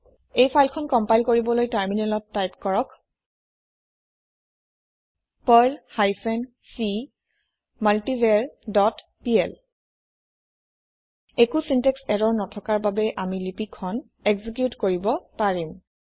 এই ফাইল খন কম্পাইল কৰিবলৈ টাৰমিনেলত টাইপ কৰক Perl hyphen c multivar dot PL একো চিনটেক্স ইৰৰ নথকাৰ বাবে আমি লিপি খন একজিকিউট কৰিব পাৰিম